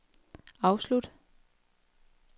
afslut